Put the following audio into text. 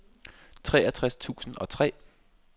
treogtres tusind og tre